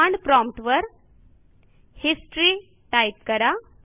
command prompt वर history type करा